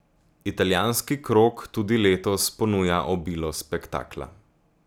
Italijanski krog tudi letos ponuja obilo spektakla.